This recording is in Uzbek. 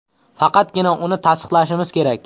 Faqatgina uni tasdiqlashimiz kerak.